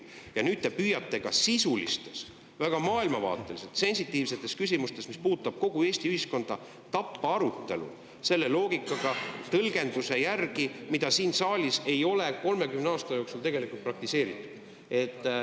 Ja nüüd te püüate ka sisulistes, väga maailmavaateliselt sensitiivsetes küsimustes, mis puudutavad kogu Eesti ühiskonda, tappa arutelu selle loogikaga, tõlgendusega, mida siin saalis ei ole 30 aasta jooksul tegelikult praktiseeritud.